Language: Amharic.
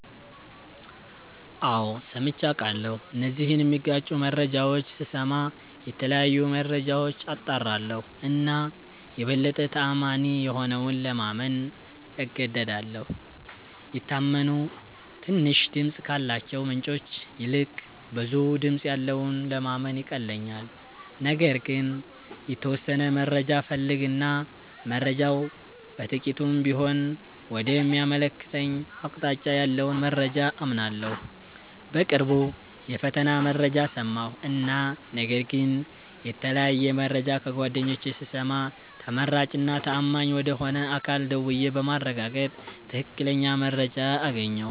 አዎ ሠምቼ አቃለሁ እነዚህን ሚጋጩ መረጃዎች ስስማ የተለያዩ መረጃዎች አጣራለሁ እና የበለጠ ተአማኒ የሆነውን ለማመን እገደዳለሁ። የታመኑ ትንሽ ድምፅ ካላቸው ምንጮች ይልቅ ብዙ ድምጽ ያለውን ለማመን ይቀለኛል። ነገር ግን የተወሠነ መረጃ እፈልግ እና መረጃው በጥቂቱም ቢሆን ወደ ሚያመለክተኝ አቅጣጫ ያለውን መረጃ አምናለሁ። በቅርቡ የፈተና መረጃ ሠማሁ እና ነገር ግን የተለያየ መረጃ ከጓደኞቼ ስሰማ ተመራጭ እና ተአማኝ ወደ ሆነ አካል ደውዬ በማረጋገጥ ትክክለኛ መረጃ አገኘሁ።